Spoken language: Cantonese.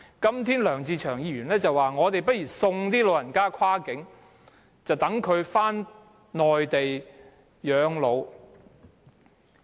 今天梁志祥議員說不如送老人跨境，讓他們返回內地養老。